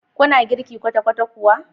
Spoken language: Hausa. Kuna girki kwata-kwata kuwa?